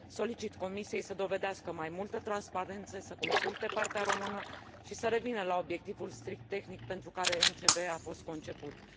Solicit Comisiei să dovedească mai multă transparență, să consulte partea română și să revină la obiectivul strict tehnic pentru care a fost conceput MCV.